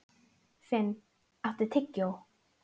Finn, áttu tyggjó?